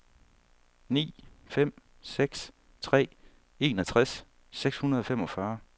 ni fem seks tre enogtres seks hundrede og femogfyrre